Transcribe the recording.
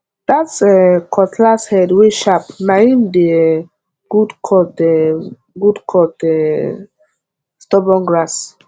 that um cutlass head wey sharp na him dey um good cut um good cut um stubborn grass